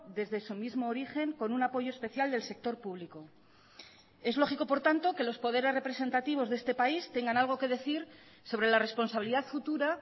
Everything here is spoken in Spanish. desde su mismo origen con un apoyo especial del sector público es lógico por tanto que los poderes representativos de este país tengan algo que decir sobre la responsabilidad futura